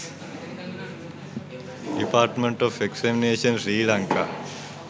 department of examination sri lanka